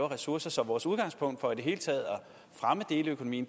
ressourcer så vores udgangspunkt for i det hele taget at fremme deleøkonomi